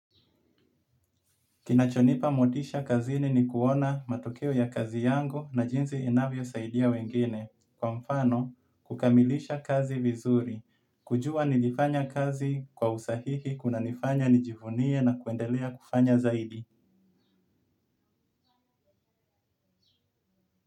Kinacho nipa motisha kazini ni kuona matokeo ya kazi yangu na jinzi inavyo saidia wengine. Kwa mfano, kukamilisha kazi vizuri. Kujua nilifanya kazi kwa usahihi, kuna nifanya nijivunie na kuendelea kufanya zaidi.